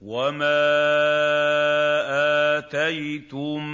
وَمَا آتَيْتُم